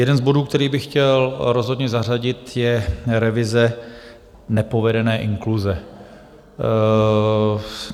Jeden z bodů, který bych chtěl rozhodně zařadit, je revize nepovedené inkluze.